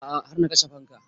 A'a har na kashe fanka